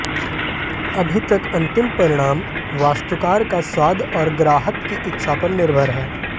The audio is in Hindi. अभी तक अंतिम परिणाम वास्तुकार का स्वाद और ग्राहक की इच्छा पर निर्भर है